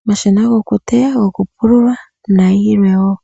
omashina gokuteya, gokupulula, nayilwe wo.